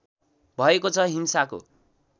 भएको छ हिंसाको